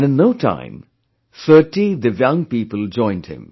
And in no time, 30 divyang people joined him